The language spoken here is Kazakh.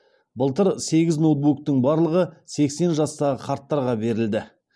былтыр сегіз ноутбуктың барлығы сексен жастағы қарттарға берілді